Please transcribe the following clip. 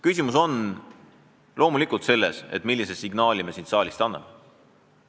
Küsimus on loomulikult selles, millise signaali me siit saalist anname.